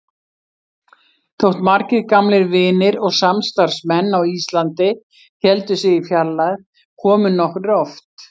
Þótt margir gamlir vinir og samstarfsmenn á Íslandi héldu sig í fjarlægð komu nokkrir oft.